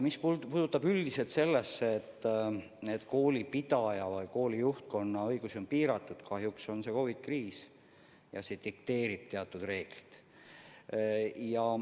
Mis puutub üldiselt sellesse, et koolipidaja ja kooli juhtkonna õigusi on piiratud, siis kahjuks on COVID-i kriis ja see dikteerib teatud reeglid.